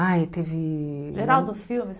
Ai, teve... Geraldo Filme.